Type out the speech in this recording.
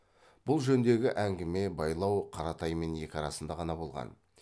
бұл жөндегі әңгіме байлау қаратаймен екі арасында ғана болған